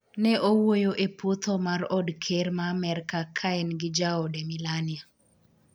ne owuoyo e puotho mar od ker ma Amerka ka en gi jaode Melania